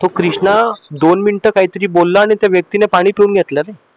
तो कृष्णा दोन मिनिट काहीतरी बोलला न त्या व्यक्तिन पाणी पिऊन घेतलं ना